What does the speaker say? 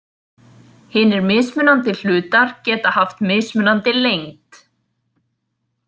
Hinir mismunandi hlutar geta haft mismunandi lengd.